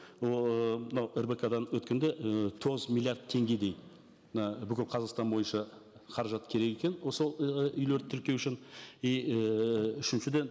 ол ыыы мынау рбк дан өткенде і тоғыз миллиард теңгедей мына бүкіл қазақстан бойынша қаражат керек екен осы ы үйлерді тіркеу үшін и ііі үшіншіден